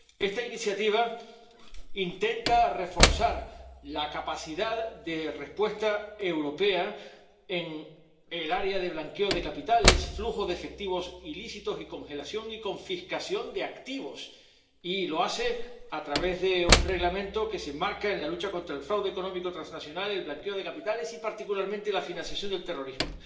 Esta iniciativa intenta reforzar la capacidad de respuesta europea en el área del blanqueo de capitales, flujo de efectivos ilícitos y congelación y confiscación de activos. Y lo hace a través de un Reglamento que se enmarca en la lucha contra el fraude económico transnacional, el blanqueo de capitales y, particularmente, la financiación del terrorismo.